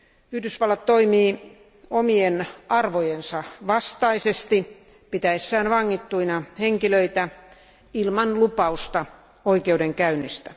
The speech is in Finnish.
Yhdysvallat toimii omien arvojensa vastaisesti pitäessään vangittuina henkilöitä ilman lupausta oikeudenkäynnistä.